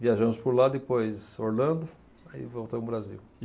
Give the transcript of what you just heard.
Viajamos por lá, depois Orlando, aí voltamos para o Brasil.